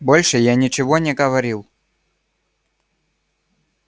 больше я ничего не говорил